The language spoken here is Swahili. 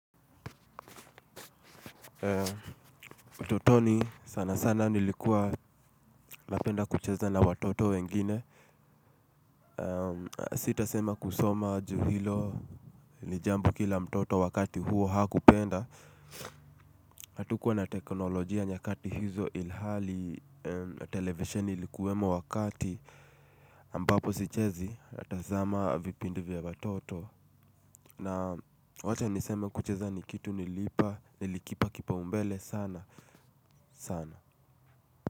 Utotoni sana sana nilikuwa napenda kucheza na watoto wengine. Sitasema kusoma juu hilo ni jambo kila mtoto wakati huo hakupenda. Hatukuwa na teknolojia nyakati hizo ilhali televisheni ilikuwemo wakati ambapo sichezi natazama vipindi vya watoto. Na wacha niseme kucheza ni kitu nilipa nilikipa kipaumbele sana sana.